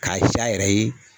K'a sin a yɛrɛ ye